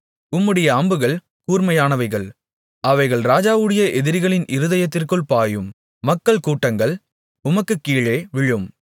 உம்முடைய அம்புகள் கூர்மையானவைகள் அவைகள் ராஜாவுடைய எதிரிகளின் இருதயத்திற்குள் பாயும் மக்கள்கூட்டங்கள் உமக்குக் கீழே விழும்